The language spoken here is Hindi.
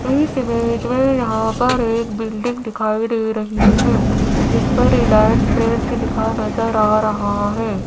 इस ईमेज मे यहां पर एक बिल्डिंग दिखाई दे रही है जिस पर रिलायंस ट्रेंड्स से लिखा नजर आ रहा है।